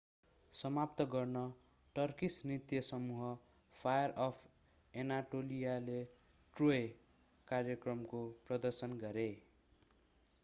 समाप्त गर्न टर्किस नृत्य समूह फायर अफ एनाटोलियाले ट्रोय कार्यक्रमको प्रदर्शन गरे